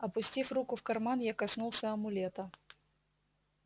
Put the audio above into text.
опустив руку в карман я коснулся амулета